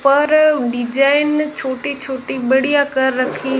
पर डिजाइन छोटी छोटी बढ़िया कर रखी--